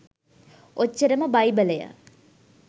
ඔච්චරම බයිබලය